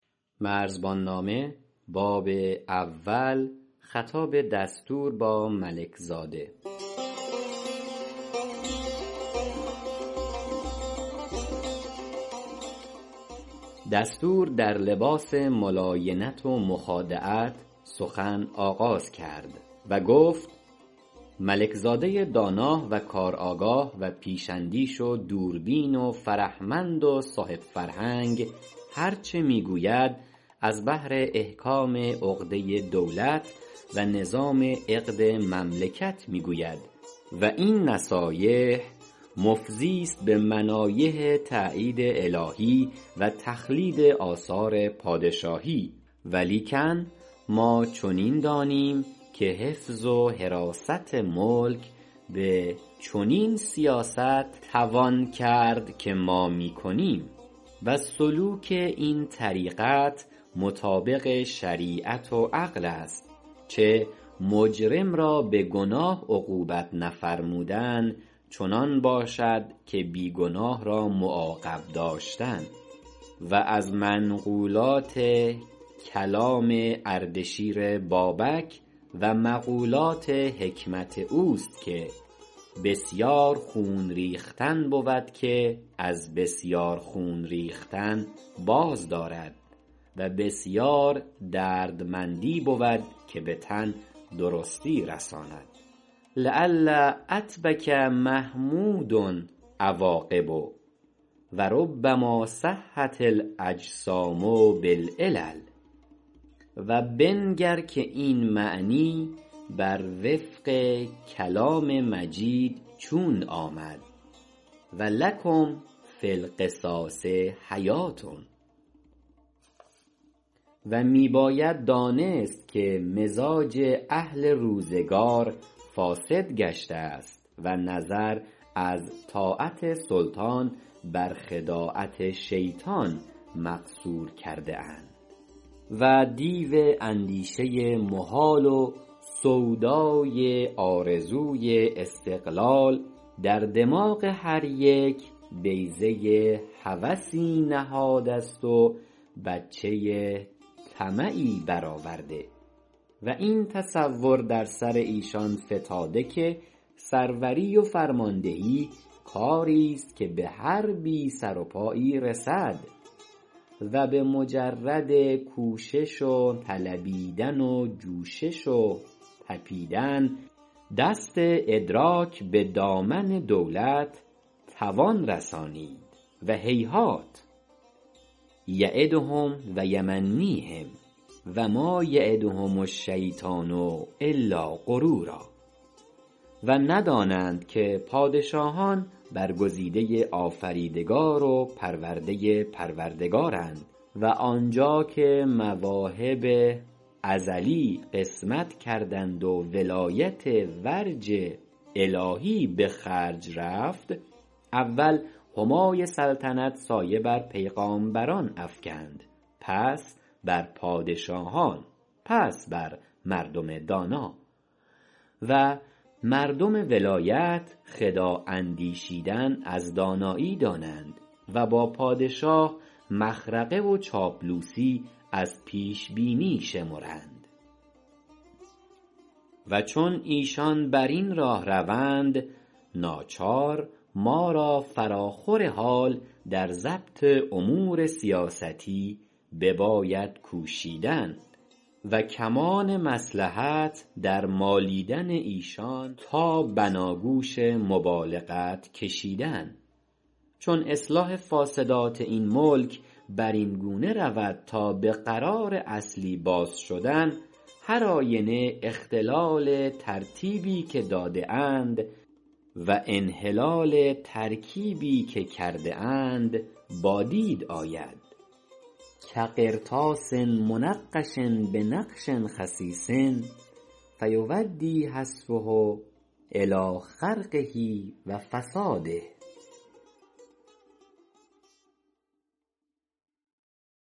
دستور در لباس ملاینت و مخادعت سخن آغاز کرد و گفت ملک زاده دانا و کارآگاه و پیش اندیش و دوربین و فرهمند و صاحب فرهنگ هرچ میگوید از بهر احکام عقده دولت و نظام عقد مملکت میگوید و این نصایح مفضیست بمنایح تأیید الهی و تخلید آثار پادشاهی و لیکن ما چنین دانیم و حفظ و حراست ملک بچنین سیاست توان کرد که ما میکنیم و سلوک این طریقت مطابق شریعت و عقلست چه مجرم را بگناه عقوبت نفرمودن چنان باشد که بی گناه را معاقب داشتن و از منقولات کلام اردشیر بابک و مقولات حکمت اوست که بسیار خون ریختن بود که از بسیار خون ریختن باز دارد و بسیار دردمندی بود که بتن درستی رساند لعل عتبک محمود عواقبه و ربما صحت الاأجسام بالعلل و بنگر که این معنی برونق کلام مجید چون آمد و لکم فی القصاص حیوه و می باید دانست که مزاج اهل روزگار فاسد گشتست و نظر از طاعت سلطان بر خداعت شیطان مقصور کرده اند و دیو اندیشه محال و سودای آرزوی استقلال در دماغ هر یک بیضه هوسی نهادست و بچه طمعی برآورده و این تصور در سرایشان فتاده که سروری و فرمان دهی کاریست که بهر بی سروپایی رسد و بمجرد کوشش و طلبیدن و جوشش و طپیدن دست ادراک بدامن دولت تواند رسانید و هیهات یعدهم و یمنیهم و ما یعدهم الشیطان إلا غرورا و ندانند که پادشاهان برگزیده آفریدگار و پرورده پروردگارند و آنجا که مواهب ازلی قسمت کردند ولایت ورج الهی بخرج رفت اول همای سلطنت سایه بر پیغامبران افکندپس بر پادشاهان پس بر مردم دانا و مردم ولایت خداع اندیشیدن از دانایی دانند و با پادشاه مخرقه و چاپلوسی از پیش بینی شمرند و چون ایشان برین راه روند ناچار ما را فراخور حال در ضبط امور سیاستی بباید کوشیدن و کمان مصلحت در مالیدن ایشان تابناگوش مبالغت کشیدن چون اصلاح فاسدات این ملک برین گونه رود تا بقرار اصلی باز شدن هر آینه اختلال ترتیبی که داده اند و انحلال ترکیبی که کرده اند با دید آید کقرطاس منفش خسیس فیؤدی حذفه إلی خرقه و فساده